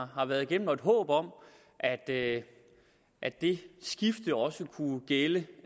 har været igennem og et håb om at det at det skifte også kunne gælde